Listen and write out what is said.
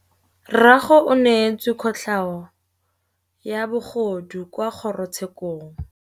Rragwe o neetswe kotlhaô ya bogodu kwa kgoro tshêkêlông.